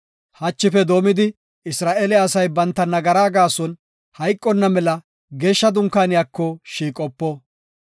Hachife doomidi Isra7eele asay banta nagara gaason hayqonna mela geeshsha dunkaaniyako shiiqopo.